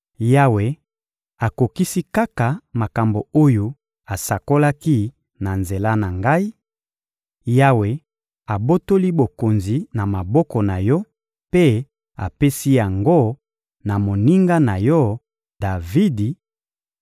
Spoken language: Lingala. Yawe akokisi kaka makambo oyo asakolaki na nzela na ngai: Yawe abotoli bokonzi na maboko na yo mpe apesi yango na moninga na yo, Davidi,